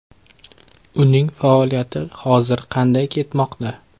Uning faoliyati hozir qanday ketmoqda?